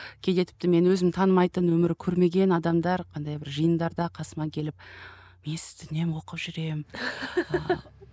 кейде тіпті мен өзім танымайтын өмірі көрмеген адамдар андай бір жиындарда қасыма келіп мен сізді үнемі оқып жүремін